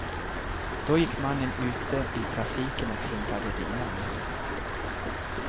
Då gick mannen ute i trafiken och hindrade bilarna.